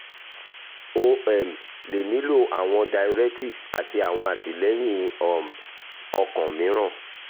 o um le nilo awọn diuretics ati awọn atilẹyin um okan miiran